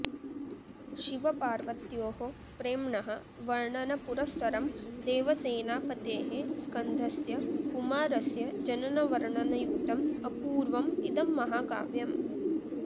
शिवपार्वत्योः प्रेम्णः वर्णनपुरस्सरं देवसेनापतेः स्कन्धस्य कुमारस्य जननवर्णनयुक्तम् अपूर्वम् इदं महाकाव्यम्